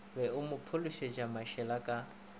be a phopholetše mašela ka